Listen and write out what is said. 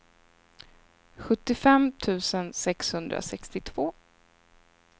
sjuttiofem tusen sexhundrasextiotvå